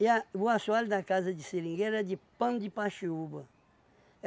E a o assoalho da casa de seringueira era de pano de paxiúba.